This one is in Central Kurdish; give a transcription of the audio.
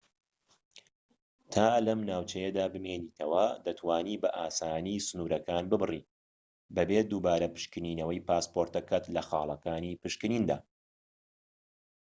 تا لەم ناوچەیەدا بمێنیتەوە دەتوانیت بە ئاسانی سنورەکان ببڕیت بەبێ دووبارە پشکنینەوەی پاسپۆرتەکەت لە خالەکانی پشکنیندا